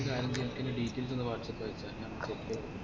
നീ ഒര് കാര്യം ചെയ് എനക്കയ്യിന്റെ details ഒന്ന് whatsapp അയച്ച